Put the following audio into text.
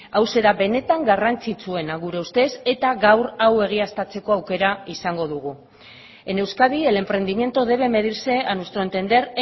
hauxe da benetan garrantzitsuena gure ustez eta gaur hau egiaztatzeko aukera izango dugu en euskadi el emprendimiento debe medirse a nuestro entender